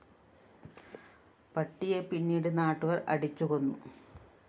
പട്ടിയെ പിന്നീട് നാട്ടുകാര്‍ അടിച്ച് കൊന്നു